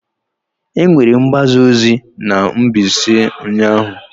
Enwere mgbaza ozi na Mbaise ụnyahụ?